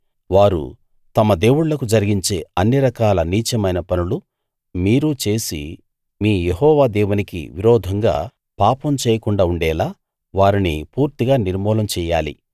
వారు తమ దేవుళ్ళకు జరిగించే అన్ని రకాల నీచమైన పనులు మీరు చేసి మీ యెహోవా దేవునికి విరోధంగా పాపం చేయకుండా ఉండేలా వారిని పూర్తిగా నిర్మూలం చెయ్యాలి